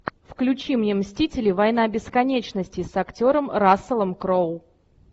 включи мне мстители война бесконечности с актером расселом кроу